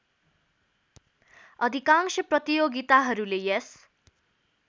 अधिकांश प्रतियोगिताहरूले यस